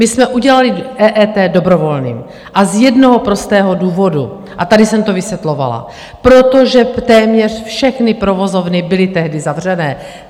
My jsme udělali EET dobrovolným, a z jednoho prostého důvodu, a tady jsem to vysvětlovala - protože téměř všechny provozovny byly tehdy zavřené.